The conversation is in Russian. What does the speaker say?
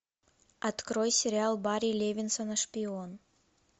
открой сериал барри левинсона шпион